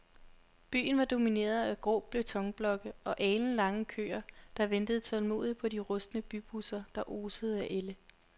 Byen var domineret af grå betonblokke og alenlange køer, der ventede tålmodigt på de rustne bybusser, der osede af ælde.